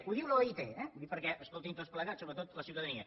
ho diu l’oit eh ho dic perquè escoltin tots plegats sobretot la ciutadania